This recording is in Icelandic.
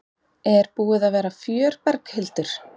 Er búið að vera fjör Berghildur?